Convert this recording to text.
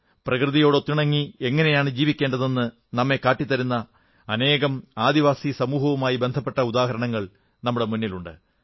പ്രകൃതിയോട് ഒത്തിണങ്ങി എങ്ങനെയാണ് ജീവിക്കേണ്ടതെന്ന് നമ്മെ കാട്ടിത്തരുന്ന അനേകം ആദിവാസി സമൂഹവുമായി ബന്ധപ്പെട്ട ഉദാഹരണങ്ങൾ നമ്മുടെ മുന്നിലുണ്ട്